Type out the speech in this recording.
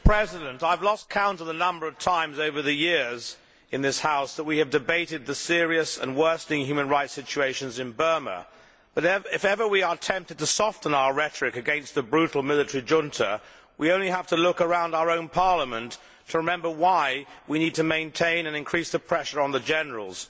Mr President, I have lost count of the number of times over the years in this House that we have debated the serious and worsening human rights situation in Burma, but, if we are ever tempted to soften our rhetoric against the brutal military junta, we only have to look around our own Parliament to remember why we need to maintain and increase the pressure on the generals.